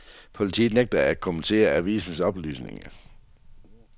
Politiet nægter at kommentere avisen oplysninger.